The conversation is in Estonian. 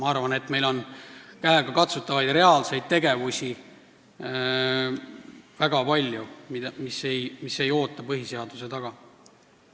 Ma arvan, et meil on väga palju käegakatsutavaid reaalseid tegevusi, mis ei pea põhiseaduse taga ootama.